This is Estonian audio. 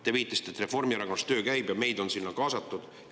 Te viitasite, et Reformierakonnas töö käib ja meid on sinna kaasatud.